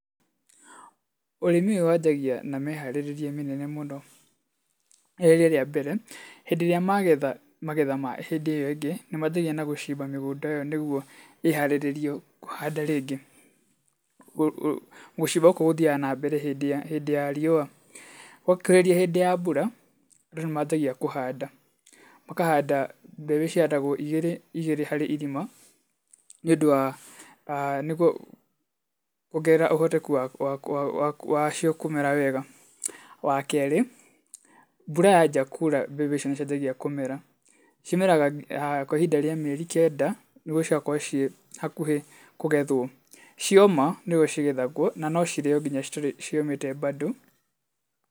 Ũrĩmi ũyũ wanjagia na mĩharĩrĩria mĩnene mũno rĩrĩa rĩ rĩa mbere. Hĩndĩ ĩrĩa magetha magetha ma hĩndĩ ĩyo ĩngĩ, nĩ manjagia na gũcimba mĩgũnda ĩyo nĩguo ĩharĩrĩrio kũhanda rĩngĩ. Gucimba gũkũ gũthiaga nambere hĩndĩ ya riũa. Gwakũhĩrĩria hĩndĩ ya mbura, andũ nĩ manjagia kũhanda. Makahanda mbeu cihandagwo ĩgĩrĩ ĩgĩrĩ harĩ irima, nĩ ũndũ wa, nĩguo kuongerera ũhoteku wacio kũmera wega. Wa kerĩ, mbura yanjia kura mbembe icio nĩ cianjagia kũmera. Cimeraga kwa ihinda rĩa mĩeri kenda nĩguo cigakorwo cii hakuhĩ kũgethwo. Cioma nĩguo cigethagwo, na no cirĩo nginya citarĩ nyũmũ bado.